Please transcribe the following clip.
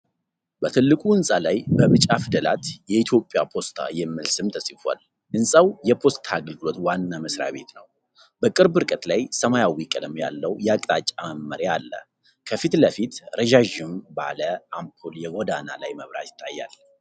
በትልቁ ህንፃ ላይ በቢጫ ፊደላት "የኢትዮጵያ ፖስታ" የሚል ስም ተፅፏል፣ ህንፃው የፖስታ አገልግሎት ዋና መስሪያ ቤት ነው። በቅርብ ርቀት ላይ ሰማያዊ ቀለም ያለው የአቅጣጫ መመሪያ አለ፣ ከፊት ለፊት ረጃጅም ባለ አምፖል የጎዳና ላይ መብራት ይታያል።